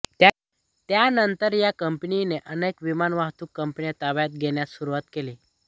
त्यानंतर या कंपनीने अनेक विमानवाहतूक कंपन्या ताब्यात घेण्यास सुरुवात केली